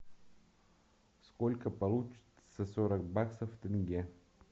сколько получится сорок баксов в тенге